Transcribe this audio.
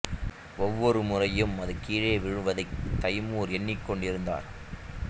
ஒவ்வொரு முறையும் அது கீழே விழுவதைத் தைமூர் எண்ணிக் கொண்டிருந்தார்